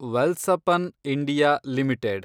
Welspun India limited